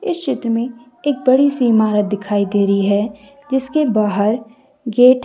इस चित्र में एक बड़ी सी इमारत दिखाई दे रही है जिसके बाहर गेट है।